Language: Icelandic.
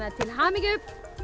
til hamingju